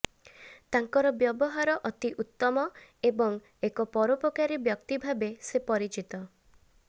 ତାଙ୍କର ବ୍ୟବହାର ଅତି ଉତ୍ତମ ଏବଂ ଏକ ପରୋପକାରୀ ବ୍ୟକ୍ତି ଭାବେ ସେ ପରିଚିତ